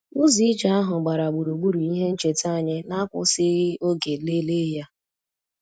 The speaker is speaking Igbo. Ụzọ ije ahụ gbara gburugburu ihe ncheta anyị na-akwụsịghị oge lelee ya